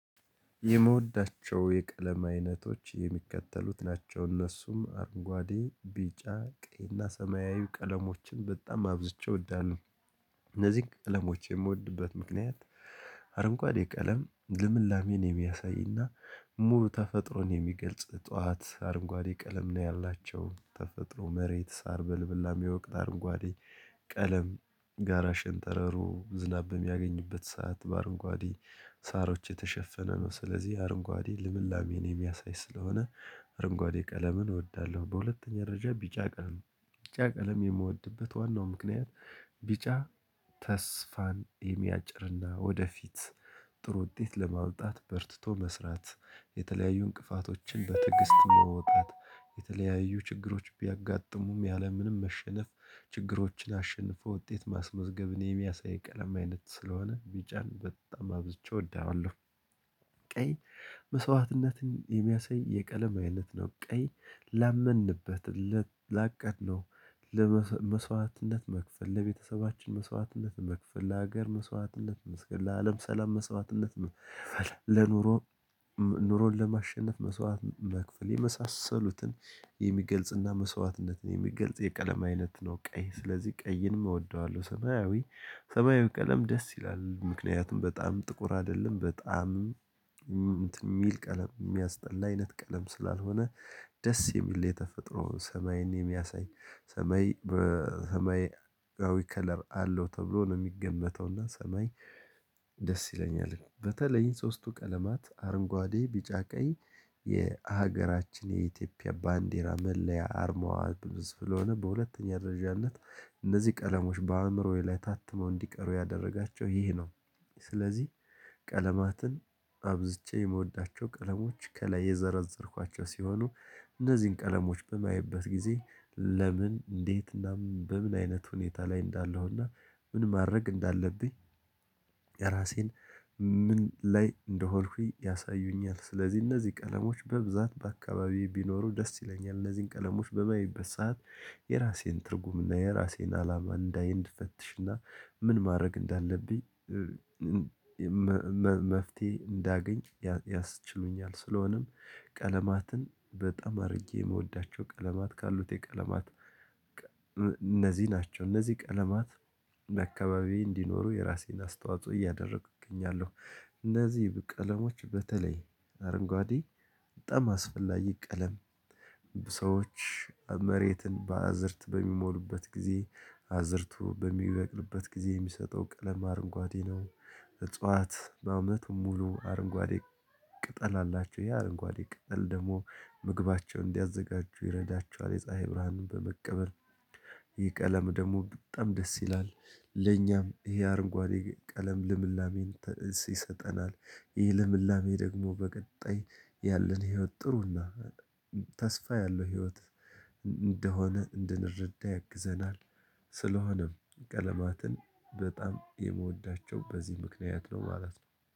የመውዳቸው የቀለም አይነቶች የሚከተሉት ናቸው እነሱም አርንጓዴ ቢጫ ቀይና ሰማያዊ ቀለሞችን በጣም አብዝቼ እወዳለሁ። እነዚህን ቀለሞች የምወድበት ምክንያት አረንጓዴ ቀለም ልምላሜን የሚያሳይና ሙሉ ተፈጥሮን የሚገልጽ ጥዋት አርንጓዴ ቀለም ነው ያላቸው ተፈጥሮ መሬት ሳር በልምላሜ ወቅት አርንጓዴ ቀለም ጋራ ሽንጠረሩ ዝናብ በሚያገኝበት ሰዓት በአረንጓዴ ሳሮች የተሸፈነ ነው ስለዚህ አረንጓዴ ልምላሜን የሚያሳይ ስለሆነ። አረንጓዴ ቀለምን እወዳለሁ። በሁለተኛ ረጅም ቢጫ ቀለም ቢጫ ቀለም የምወድበት ዋናው ምክንያት ቢጫ ተስፋን የሚያጭርና ወደፊት ጥሩ ውጤት ለማመጣት በርትቶ መስራት የተለያዩ እንቅፋቶችን በትግስት መውጣት የተለያዩ ችግሮች ቢያጋጥሙም ያለምንም መሸነፍ ችግሮችን አሸንፎ ውጤት ማስመዝገብን የሚያሳይ ቀለም አይነት ስለሆነ ቢጫን በጣም አብዝቼ እወደዋለሁ። ቀይ መስዋዕትነትን የሚያሳይ የቀለም አይነት ነው። ቀይ ላመንበት ላቀድነው መስዋዕትነት መክፈል ለቤተሰቦች መስዋዕትነት መክፈል ለሀገር መስዋዕትነት መክፈል ለአለም ሰላም መስዋዕትነት መክፈል ለኑሮ። ኑሮን ለማሸነፍ መስዋዕትነት መክፈል የመሳሰሉትን የሚገልጽና መስዋዕትነትን የሚገልጽ የቀለማ አይነት ነው። ቀይ ስለዚህ ቀይንም እወደዋለሁ። ሰማያዊ ሰማያዊ ቀለም ደስ ይላል ምክንያቱም በጣም ጥቁር አይደለም በጣም የሚል ቀለም የሚያስጠላ አይነት ቀለም ስላልሆነ። ደስ የሚል የተፈጥሮ ሰማይን የሚያሳይ ሰማይ በሰማያዊ ከለር አለው ተብሎ ነው የሚገመተው እና ሰማይ ደስ ይለኛል። በተለይም ሶስቱ ቀለማት አረንጓዴ ቢጫ ቀይ የሀገራችን የኢትዮጵያ ባንዲራ መለያ አርማዋ ብዙ ስሆነ በሁለተኛ ደረጃነት እነዚህ ቀለሞች በአእምሮዬ ላይ ታትመው እንዲቀሩ ያደረጋቸው ይህ ነው። ስለዚህ ቀለማትን አብዝቼ የምወዳቸው ቀለሞች ከላይ የዘረዘርኳቸው ሲሆኑ። እነዚህን ቀለሞች በማየበት ጊዜ ለምን እንዴት እና በምን አይነት ሁኔታ ላይ እንዳለሁና ምን ማድረግ እንዳለብኝ? ራሴን ምን ላይ እንደሆንኩኝ ያሳዩኛል። ስለዚህ እነዚህ ቀለሞች በብዛት በአካባቢዬ ቢኖሩ ደስ ይለኛል። እነዚህን ቀለሞች በማይበት ሰዓት የራሴን ትርጉም እና የራሴን አላማ እንዳይ እንድፈትሽና ምን ማድረግ እንዳለብኝ? መፍትሄ እንዳገኝ ያስችሉኛል። ስለሆነም ቀለማትን በጣም አድርጌ የምወዳቸው ቀለማት ካሉት የቀለማት እነዚህ ናቸው። እነዚህ ቀለማት አካባቢ እንዲኖሩ የራሴን አስተዋጽኦ እያደረኩ እገኛለሁ። እነዚህ ቀለሞች በተለይ አረንጓዴ በጣም አስፈላጊ ቀለም ሰዎች መሬትን በአዝርት በሚሞሉበት ጊዜ አዝርቶ በሚበቅልበት ጊዜ የሚሰጠው ቀለም አረንጓዴ ነው። እጽዋት በአመቱ ሙሉ አረንጓዴ ቅጠል አላቸው ይሄ አረንጓዴ ቅጠል ደግሞ ምግባቸውን እንዲያዘጋጁ ይረዳቸዋል። የፀሀይ ብርሃንን በመቀበል ይህ ቀለም ደግሞ በጣም ደስ ይላል። ለኛም ይህ አረንጓዴ ቀለም ልምላሜን ይሰጠናል። ይህ ልምላሜ ደግሞ በቀጣይ ያለንን ህይወት ጥሩና ተስፋ ያለው ህይወት እንደሆነ እንድንረዳ ያግዘናል። ስለሆነም ቀለማትን በጣም የምወዳቸው በዚህ ምክንያት ነው ማለት ነው